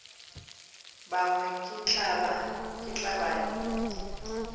bongwe ke tla ba le